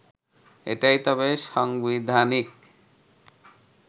এটাই তবে সাংবিধানিক